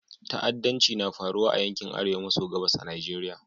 Ta'addanci na faruwa a yankin Arewa maso gabas na Nigeriya.